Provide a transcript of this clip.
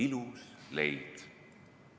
"– ilus leid.